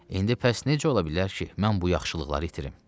İndi bəs necə ola bilər ki, mən bu yaxşılıqları itirim?